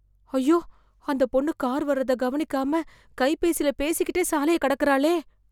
அய்யோ, அந்த பொண்ணு கார் வர்றத கவனிக்காம, கைபேசில பேசிக்கிட்டே சாலைய கடக்கறாளே...